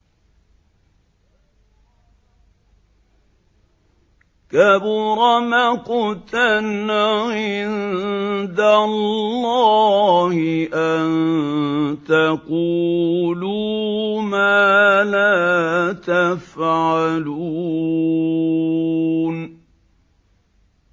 كَبُرَ مَقْتًا عِندَ اللَّهِ أَن تَقُولُوا مَا لَا تَفْعَلُونَ